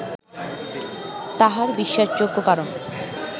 তাহার বিশ্বাসযোগ্য কারণ